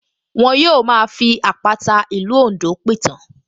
Wọ́n yóò máa fi àpàta ìlú Oǹdó pìtàn